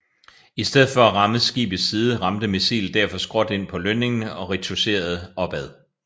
I stedet for at ramme skibets side ramte missilet derfor skråt ind på lønningen og rikochetterede opad